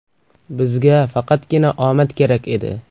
Bizga faqatgina omad kerak edi.